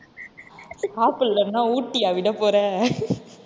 சாப்பிடலனா ஊட்டியா விடப் போற?